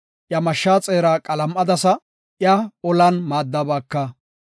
Iya mashshaa xeeraa qalam7adasa; iya olan maaddabaaka.